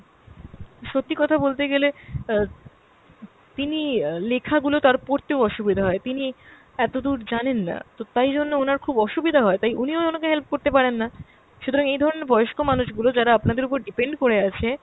সত্যি কথা বলতে গেলে অ্যাঁ তিনি অ্যাঁ লেখা গুলো তার পোড়তেও অসুবিধা হয়, তিনি এতদূর জানেন না। তো তাই জন্য ওনার খুব অসুবিধা হয় তাই উনিও অনাকে help করতে পারেন না। সুতরাং এই ধরনের বয়স্ক মানুষগুলো যারা আপনাদের ওপর depend করে আছে